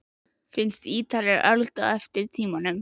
Finnst Ítalir öld á eftir tímanum.